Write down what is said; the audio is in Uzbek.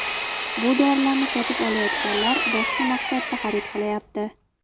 Bu dorilarni sotib olayotganlar boshqa maqsadda xarid qilayapti.